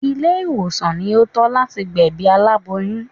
Ilé ìwòsàn ni ó tọ́ láti gbẹ̀bí aláboyún